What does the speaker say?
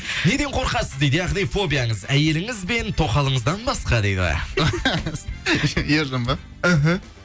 неден қорқасыз дейді яғни фобиаңыз әйеліңіз бен тоқалыңыздан басқа дейді ержан ба ыхы